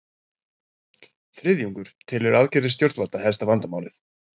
Þriðjungur telur aðgerðir stjórnvalda helsta vandamálið